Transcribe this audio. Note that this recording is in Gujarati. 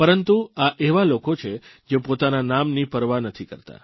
પરંતુ આ એવા લોકો છે જે પોતાના નામની પરવા નથી કરતા